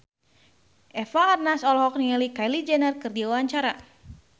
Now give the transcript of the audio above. Eva Arnaz olohok ningali Kylie Jenner keur diwawancara